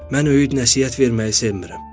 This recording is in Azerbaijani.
Mən öyüd-nəsihət verməyi sevmirəm.